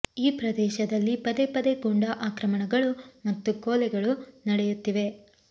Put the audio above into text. ಈ ಪ್ರದೇಶದಲ್ಲಿ ಪದೇ ಪದೇ ಗೂಂಡಾ ಆಕ್ರಮಣಗಳು ಮತ್ತು ಕೊಲೆಗಳು ನಡೆಯುತ್ತಿವೆ